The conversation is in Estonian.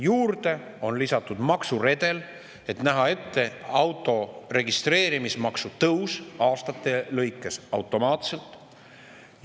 Juurde on lisatud maksuredel, et näha ette auto registreerimis tõus aastate lõikes automaatselt.